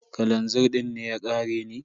Kalazir din ne ya ƙare ne?